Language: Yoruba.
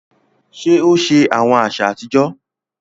Ṣe o ṣe awọn aṣa atijọ?